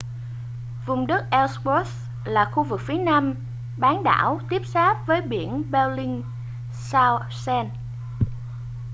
vùng đất ellsworth là khu vực phía nam bán đảo tiếp giáp với biển bellingshausen